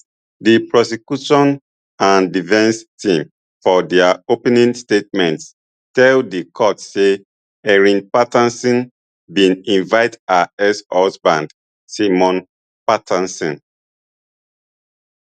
di prosecution and defence team for dia opening statements tell di court say erin patterson bin invite her exhusband simon patterson